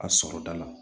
A sɔrɔ da la